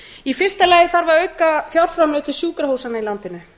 í fyrsta lagi þarf að auka fjárframlög til sjúkrahúsanna í landinu